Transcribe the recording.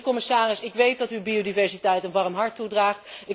Commissaris, ik weet dat u biodiversiteit een warm hart toedraagt.